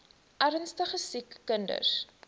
ernstige siek kinders